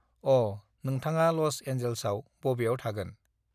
अः नोंथाङा लज एनजेल्सआव बबेआव थागोन